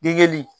Degeli